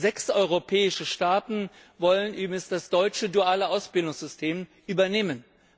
Sechs europäische Staaten wollen übrigens das deutsche duale Ausbildungssystem übernehmen.